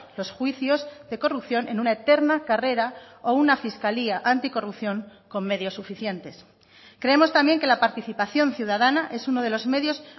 los juicios de corrupción en una eterna carrera o una fiscalía anticorrupción con medios suficientes creemos también que la participación ciudadana es uno de los medios